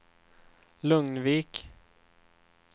Lugnvik